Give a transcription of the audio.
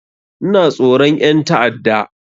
Ina tsoron ƴan ta'adda